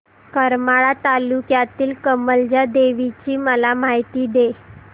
करमाळा तालुक्यातील कमलजा देवीची मला माहिती दे